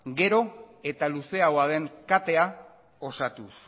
gero eta luzeagoa den katea osatuz